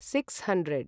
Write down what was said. six hundred